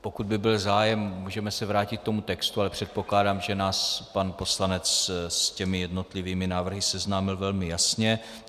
Pokud by byl zájem, můžeme se vrátit k tomu textu, ale předpokládám, že nás pan poslanec s těmi jednotlivými návrhy seznámil velmi jasně.